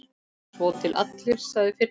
Svo til allir, sagði Finnur.